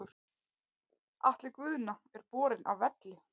Atli Guðna er borinn af velli.